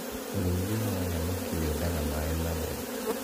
ũrĩithia wa thamaki wendaga maĩ matheru